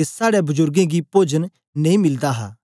ते साड़े बजुर्गें गी पोजन नेई मिलदा हा